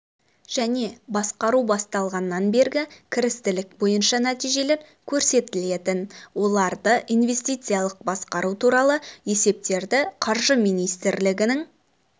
және басқару басталғаннан бергі кірістілік бойынша нәтижелер көрсетілетін оларды инвестициялық басқару туралы есептерді қаржы министрлігінің